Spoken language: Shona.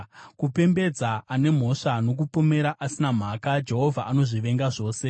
Kupembedza ane mhosva nokupomera asina mhaka, Jehovha anozvivenga zvose.